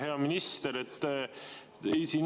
Hea minister!